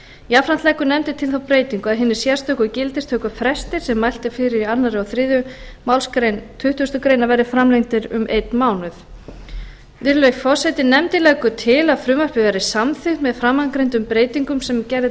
jafnframt leggur nefndin til þá breytingu að hinir sérstöku gildistökufrestir sem mælt er fyrir um í öðru og þriðju málsgrein tuttugustu greinar verði framlengdir um einn mánuð nefndin leggur til að frumvarpið verði samþykkt með framangreindum breytingum sem gerð er